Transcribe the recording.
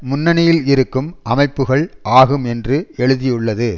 முன்னணியில் இருக்கும் அமைப்புக்கள் ஆகும் என்று எழுதியுள்ளது